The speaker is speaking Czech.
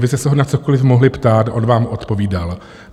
Vy jste se ho na cokoliv mohli ptát, on vám odpovídal.